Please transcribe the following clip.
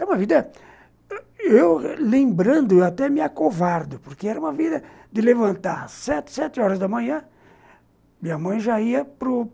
É uma vida... Eu, lembrando, eu até me acovardo, porque era uma vida de levantar sete, sete horas da manhã, minha mãe já ia para.